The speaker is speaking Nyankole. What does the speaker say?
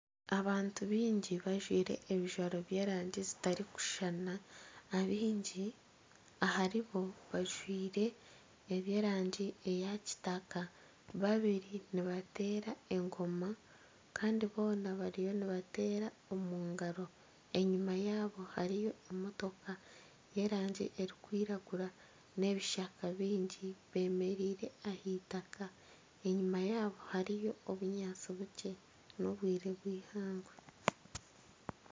Abantu baingi bajwire ebijwaro by'erangi zitarikushushana, abaingi aharibo bajwire eby'erangi eya kitaka babiri nibatera engoma Kandi boona bariyo nibatera omungaro enyima yabo hariyo emotoka y'erangi erikwiragura n'ebishaka biingi bemereire ah'eitaka enyima yabo hariyo obunyaantsi bukye n'obwire bw'eihangwe.